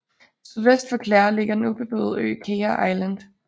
Sydvest for Clare ligger den ubeboede ø Caher Island